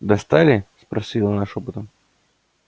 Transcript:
достали спросила она шёпотом